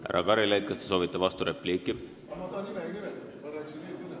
Härra Karilaid, kas te soovite vasturepliiki?